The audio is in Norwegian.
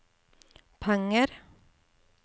penger